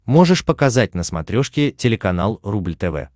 можешь показать на смотрешке телеканал рубль тв